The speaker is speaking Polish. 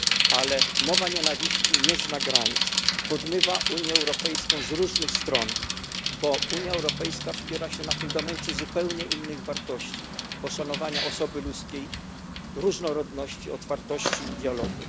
Ale mowa nienawiści nie zna granic, podmywa Unię Europejską z różnych stron, bo Unia Europejska wspiera się na fundamencie zupełnie innych wartości poszanowania osoby ludzkiej, różnorodności, otwartości i dialogu.